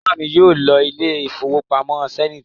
Ìyá mi yóò lọ ilé ìfowópamọ́ Zenith